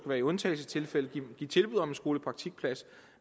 være i undtagelsestilfælde kan give tilbud om en skolepraktikplads